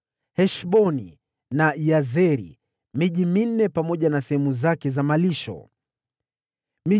Heshboni na Yazeri, pamoja na sehemu zake za malisho, ilikuwa miji minne.